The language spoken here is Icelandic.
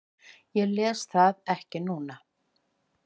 Ég les það ekki núna.